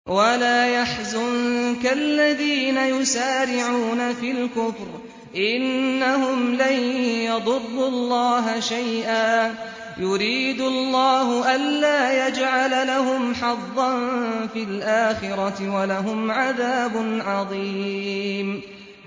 وَلَا يَحْزُنكَ الَّذِينَ يُسَارِعُونَ فِي الْكُفْرِ ۚ إِنَّهُمْ لَن يَضُرُّوا اللَّهَ شَيْئًا ۗ يُرِيدُ اللَّهُ أَلَّا يَجْعَلَ لَهُمْ حَظًّا فِي الْآخِرَةِ ۖ وَلَهُمْ عَذَابٌ عَظِيمٌ